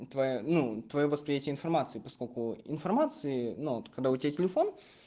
ну твоя ну твоё восприятие информации поскольку информации но вот тогда у тебя телефон